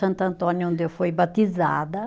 Santo Antônio onde eu fui batizada.